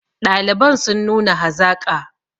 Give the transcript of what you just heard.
ɗaliban sun nuna hazaƙa